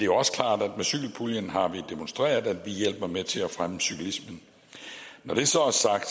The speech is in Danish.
også klart at med cykelpuljen har vi demonstreret at vi hjælper med til at fremme cyklismen når det så